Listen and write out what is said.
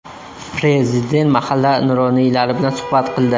Prezident mahalla nuroniylari bilan suhbat qildi.